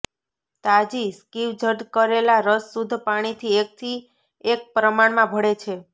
તાજી સ્ક્વિઝ્ડ કરેલા રસ શુદ્ધ પાણીથી એકથી એક પ્રમાણમાં ભળે છે